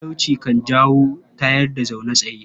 Talauci kan jawo tayar-da-zaune-tsaye.